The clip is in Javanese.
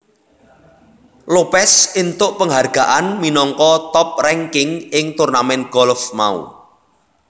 Lopez entuk penghargaan minangka top ranking ing turnamen golf mau